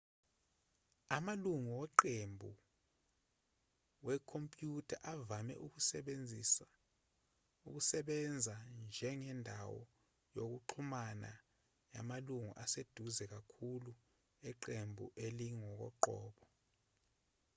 amalungu weqembu wekhompyutha avame ukusebenza njengendawo yokuxhumana yamalungu aseduze kakhulu eqembu elingokoqobo